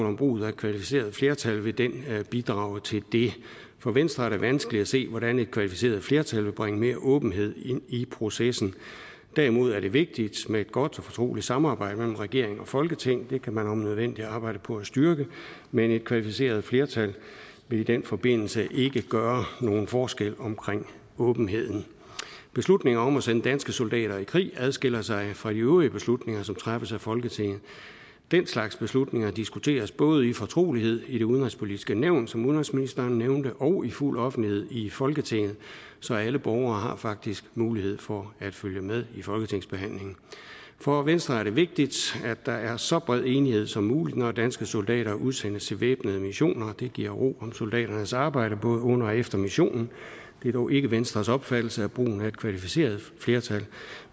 om brugen af kvalificeret flertal vil bidrage til det for venstre er det vanskeligt at se hvordan et kvalificeret flertal vil bringe mere åbenhed ind i processen derimod er det vigtigt med et godt og fortroligt samarbejde mellem regering og folketing det kan man om nødvendigt arbejde på at styrke men et kvalificeret flertal vil i den forbindelse ikke gøre nogen forskel omkring åbenheden beslutningen om at sende danske soldater i krig adskiller sig fra de øvrige beslutninger som træffes af folketinget den slags beslutninger diskuteres både i fortrolighed i det udenrigspolitiske nævn som udenrigsministeren nævnte og i fuld offentlighed i folketinget så alle borgere har faktisk mulighed for at følge med i folketingsbehandlingen for venstre er det vigtigt at der er så bred enighed som muligt når danske soldater udsendes til væbnede missioner det giver ro om soldaternes arbejde både under og efter missionen det er dog ikke venstres opfattelse at brugen af et kvalificeret flertal